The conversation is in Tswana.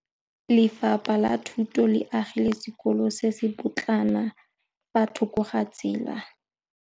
Lefapha la Thuto le agile sekôlô se se pôtlana fa thoko ga tsela.